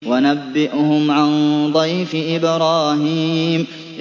وَنَبِّئْهُمْ عَن ضَيْفِ إِبْرَاهِيمَ